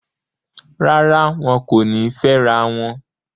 Rárá, wọn kò ní fẹ́rawọn